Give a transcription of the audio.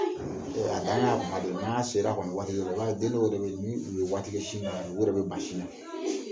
A daminɛ kuma dɔ de ye na sera waati dɔɔ la i b'a ye den o den min tu bɛ waati kɛ sin kan o de bɛ ban sin na